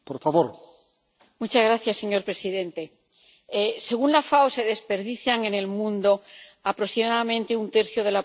Señor presidente, según la FAO se desperdicia en el mundo aproximadamente un tercio de la producción mundial de alimentos.